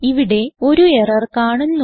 ഇവിടെ ഒരു എറർ കാണുന്നു